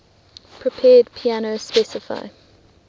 prepared piano specify